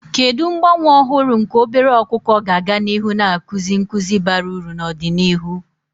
Kedu mgbanwe ọhụrụ nke obere ọkụkọ ga-aga n'ihu na-akụzi nkuzi bara uru n'ọdịnihu?